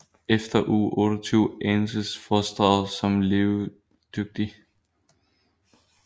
Efter uge 28 anses fostret som levedygtigt